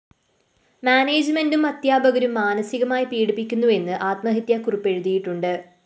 മാനേജുമെന്റും അദ്ധ്യാപകരും മാനസികമായി പീഡിപ്പിക്കുന്നുവെന്ന് ആത്മഹത്യാ കുറിപ്പെഴുതിയിട്ടുണ്ട്